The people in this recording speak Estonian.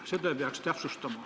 Seda peaks täpsustama.